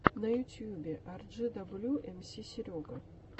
на ютьюбе арджидаблю эмси серега